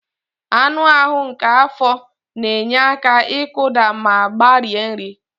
Anụ ahụ nke afọ na-enye aka ịkụda ma gbarie nri.